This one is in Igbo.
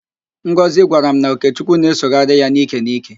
Ngozị gwara m na Okechukwu na-esogharị ya n'íkè n'íkè.